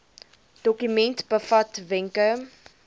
dokument bevat wenke